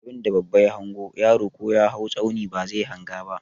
Abunda babba ya hango, yaro ko ya hau tsauni bazai hanga ba.